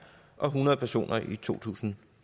og hundrede personer i to tusind